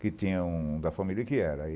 Que tinha um da família que era.